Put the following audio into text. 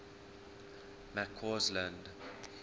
mccausland